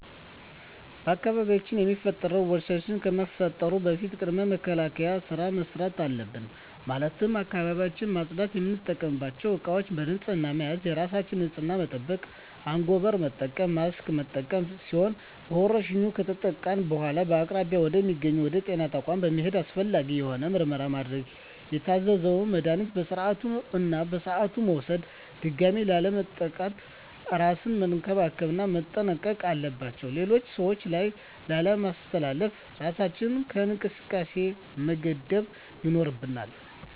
በአካባቢያችን ላይ የሚፈጠሩ ወረርሽኝ ከመፈጠሩ በፊት ቅድመ መከላከል ስራ መስራት አለብን ማለትም አካባቢውን ማፅዳት፣ የምንጠቀምባቸው እቃዎች በንህፅና መያዝ፣ የራስን ንፅህና መጠበቅ፣ አንጎበር መጠቀም፣ ማስክ መጠቀም ሲሆኑ በወረርሽኙ ከተጠቃን በኃላ በአቅራቢያ ወደ ሚገኝ ወደ ጤና ተቋም በመሔድ አስፈላጊውን የሆነ ምርመራ ማድረግ የታዘዘውን መድሀኒቶች በስርዓቱ እና በሰዓቱ መውሰድ ድጋሚ ላለመጠቃት እራስን መንከባከብ እና መጠንቀቅ አለባቸው ሌሎች ሰዎች ላይ ላለማስተላለፍ እራሳችንን ከእንቅስቃሴ መገደብ ይኖርብናል።